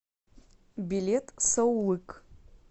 билет саулык